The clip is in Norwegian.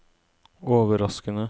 overraskende